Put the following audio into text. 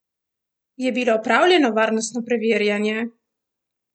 Je bilo opravljeno varnostno preverjanje?